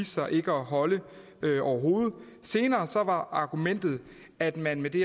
sig ikke at holde overhovedet senere var argumentet at man med det